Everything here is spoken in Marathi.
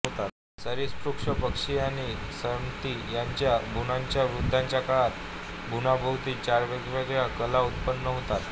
सरीसृप पक्षी आणि स्तनी यांच्या भ्रूणांच्या वृद्धीच्या काळात भ्रूणाभोवती चार वेगवेगळ्या कला उत्पन्न होतात